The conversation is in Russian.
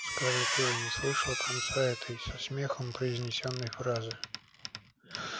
скарлетт уже не слышала конца этой со смехом произнесённой фразы